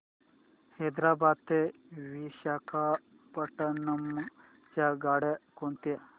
हैदराबाद ते विशाखापट्ण्णम च्या गाड्या कोणत्या